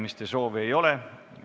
Kõnesoove ei ole.